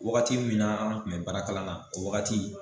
Wagati min na an kun bɛ baarakalan na o wagati